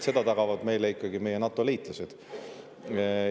Seda tagavad meile ikkagi meie NATO-liitlased.